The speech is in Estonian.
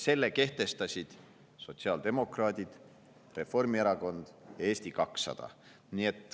Selle kehtestasid sotsiaaldemokraadid, Reformierakond ja Eesti 200.